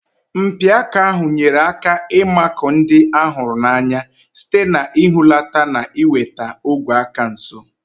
Mpi aka ahụ nyere aka ịmakụ ndị a hụrụ n'anya site n'ihulata na iweta ogwe aka nso.